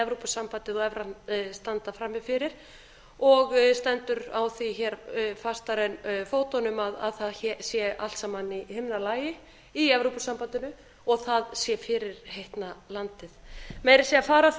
evrópusambandið og evran standa frammi fyrir og stendur á því hér fastar en fótunum að það sé allt saman í himnalagi í evrópusambandinu og það sé fyrirheitna landið meira að segja fara af því